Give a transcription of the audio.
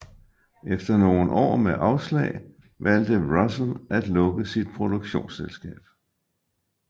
Efter nogen år med afslag valgte Russell at lukke sit produktionsselskab